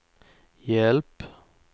hjälp